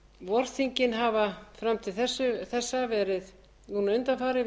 vorþingin hafa fram til þessa núna undanfarið